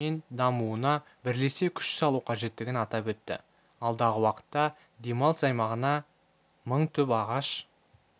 мен дамуына бірлесе күш салу қажеттігін атап өтті алдағы уақытта демалыс аймағына мың түп ағаш